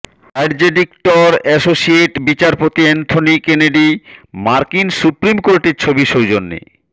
অ্যাডজেডিকটর associate বিচারপতি Anthony Kennedy মার্কিন supreme কোর্টের ছবি সৌজন্যে